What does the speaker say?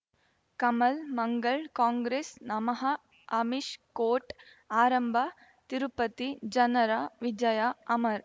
ಕಮಲ್ ಮಂಗಳ್ ಕಾಂಗ್ರೆಸ್ ನಮಃ ಅಮಿಷ್ ಕೋರ್ಟ್ ಆರಂಭ ತಿರುಪತಿ ಜನರ ವಿಜಯ ಅಮರ್